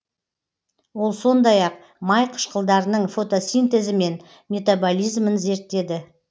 ол сондай ақ май қышқылдарының фотосинтезі мен метаболизмін зерттеді